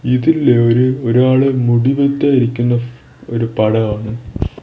ഇതില് ഒരു ഒരാള് മുടി വെട്ടാൻ ഇരിക്കുന്ന ഒരു ഫ് പടമാണ്.